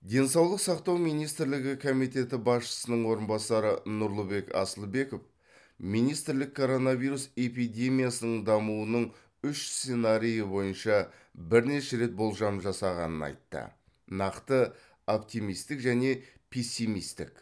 денсаулық сақтау министрлігі комитеті басшысының орынбасары нұрлыбек асылбеков министрлік коронавирус эпидемиясының дамуының үш сценарийі бойынша бірнеше рет болжам жасағанын айтты нақты оптимистік және пессимистік